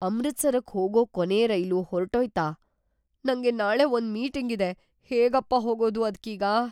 ಅಮೃತ್‌ಸರಕ್ ಹೋಗೋ ಕೊನೇ ರೈಲು ಹೊರ್ಟೋಯ್ತಾ? ನಂಗೆ ನಾಳೆ ಒಂದ್‌ ಮೀಟಿಂಗ್ ಇದೆ, ಹೇಗಪ್ಪಾ ಹೋಗೋದು ಅದ್ಕೀಗ?!